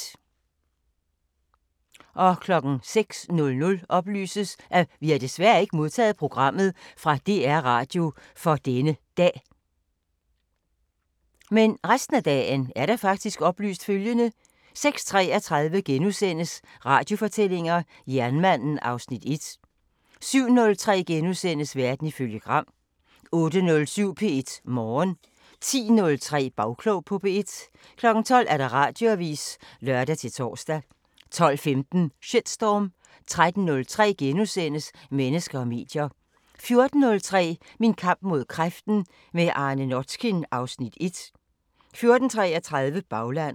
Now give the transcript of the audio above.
06:00: Vi har desværre ikke modtaget programmet fra DR-Radio for denne dag 06:33: Radiofortællinger: Jernmanden (Afs. 1)* 07:03: Verden ifølge Gram * 08:07: P1 Morgen 10:03: Bagklog på P1 12:00: Radioavisen (lør-tor) 12:15: Shitstorm 13:03: Mennesker og medier * 14:03: Min kamp mod kræften – med Arne Notkin (Afs. 1) 14:33: Baglandet